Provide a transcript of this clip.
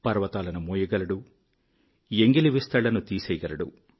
పర్వతాలను మోయగలడు ఎంగిలి విస్తళ్ళను తీసేయగలడు